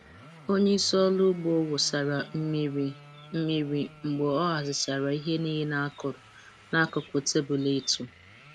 Onye isi ọrụ ugbo wụsara mmiri mmiri mgbe ọ hazichara ihe niile a kụrụ n'akụkụ tebụl ịtụ.